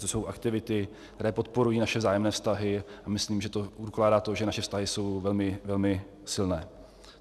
To jsou aktivity, které podporují naše vzájemné vztahy, a myslím, že to dokládá to, že naše vztahy jsou velmi, velmi silné.